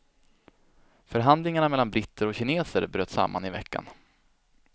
Förhandlingarna mellan britter och kineser bröt samman i veckan.